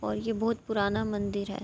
اور یہ بھوت پرانا مندر ہے۔